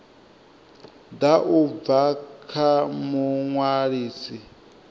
ḓa u bva kha muṅwalisi